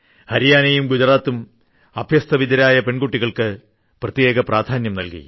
ഹരിയാനയും ഗുജറാത്തും അഭ്യസ്തവിദ്യരായ പെൺകുട്ടികൾക്ക് പ്രത്യേക പ്രാധാന്യം നൽകി